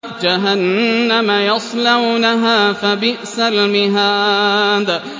جَهَنَّمَ يَصْلَوْنَهَا فَبِئْسَ الْمِهَادُ